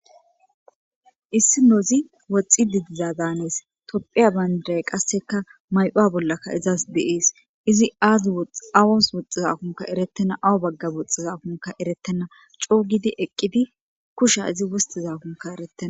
issi nozi woxxi didiza daanees topphiya bayndiray qasseka may7owa bollakka izaas deees izi aadi xawos woxxizakunka erettena awu bagga woxxizakunka erettena coogidi eqqidi kusha izi wostizakunka eretten